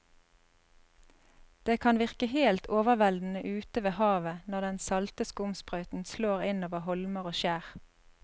Det kan virke helt overveldende ute ved havet når den salte skumsprøyten slår innover holmer og skjær.